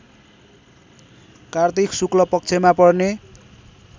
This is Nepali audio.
कार्तिक शुक्लपक्षमा पर्ने